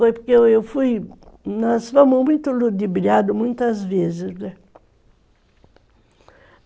Foi porque eu fui, nós fomos muito ludibriados muitas vezes.